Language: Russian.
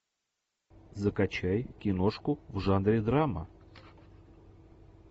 закачай киношку в жанре драма